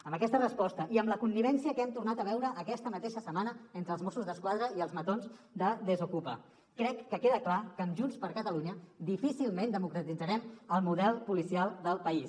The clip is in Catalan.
amb aquesta resposta i amb la connivència que hem tornat a veure aquesta mateixa setmana entre els mossos d’esquadra i els matons de desokupa crec que queda clar que amb junts per catalunya difícilment democratitzarem el model policial del país